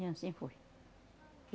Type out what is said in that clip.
E anssim foi.